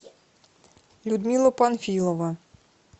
людмила панфилова